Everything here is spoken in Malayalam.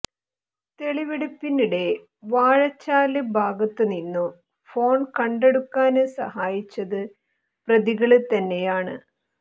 തെളിവെടുപ്പിനിടെ വാഴച്ചാല് ഭാഗത്തുനിന്നും ഫോണ് കണ്ടെടുക്കാന് സഹായിച്ചത് പ്രതികള് തന്നെയാണ്